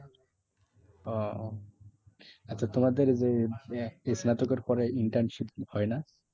ওহ আচ্ছা তোমাদের স্নাতকের পরে internship হয় না?